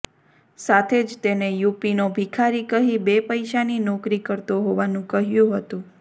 સાથે જ તેને યૂપીનો ભિખારી કહી બે પૈસાની નોકરી કરતો હોવાનું કહ્યું હતું